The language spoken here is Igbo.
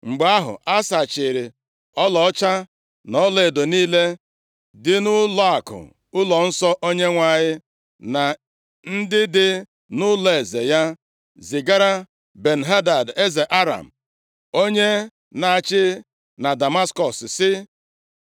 Mgbe ahụ, Asa chịịrị ọlaọcha na ọlaedo niile dị nʼụlọakụ ụlọnsọ Onyenwe anyị, na ndị dị nʼụlọeze ya, zigara Ben-Hadad, eze Aram, onye na-achị na Damaskọs, sị,